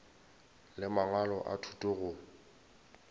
le mangwalo a thuto go